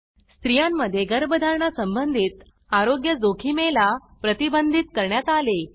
स्त्रियांमध्ये गर्भधारणा संबंधित आरोग्य जोखिमेला प्रतिबंधित करण्यात आले